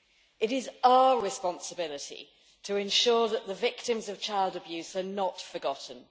It is our responsibility to ensure that the victims of child abuse are not forgotten.